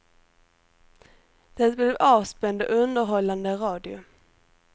Det blev avspänd och underhållande radio.